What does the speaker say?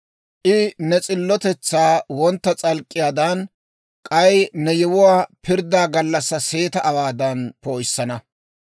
I ne s'illotetsaa wontta s'alk'k'iyaadan, k'ay ne yewuwaa pirddaa gallassaa seeta awaadan poo'issana.